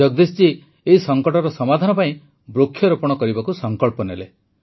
ଜଗଦୀଶ ଜୀ ଏହି ସଙ୍କଟର ସମାଧାନ ପାଇଁ ବୃକ୍ଷରୋପଣ କରିବାକୁ ସଂକଳ୍ପ ନେଲେ